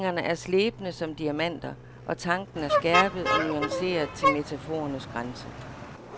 Sætningerne er slebne som diamanter, og tanken er skærpet og nuanceret til metaforernes grænse.